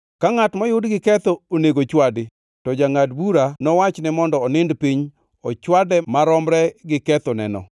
Ka ngʼat moyud giketho onego chwadi, to jangʼad bura nowachne mondo onind piny ochwade maromre gi kethoneno,